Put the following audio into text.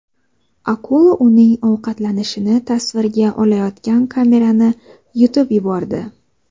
Akula uning ovqatlanishini tasvirga olayotgan kamerani yutib yubordi .